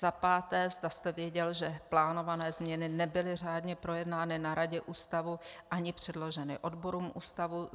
Za páté, zda jste věděl, že plánované změny nebyly řádně projednány na radě Ústavu ani předloženy odborům Ústavu.